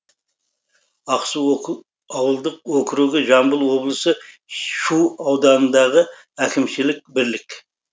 ақсу ауылдық округі жамбыл облысы шу ауданындағы әкімшілік бірлік